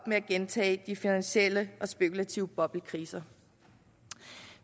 med at gentage de finansielle og spekulative boblekriser